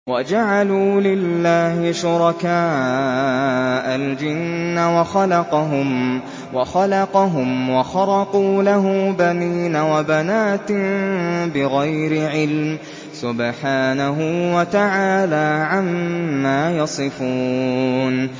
وَجَعَلُوا لِلَّهِ شُرَكَاءَ الْجِنَّ وَخَلَقَهُمْ ۖ وَخَرَقُوا لَهُ بَنِينَ وَبَنَاتٍ بِغَيْرِ عِلْمٍ ۚ سُبْحَانَهُ وَتَعَالَىٰ عَمَّا يَصِفُونَ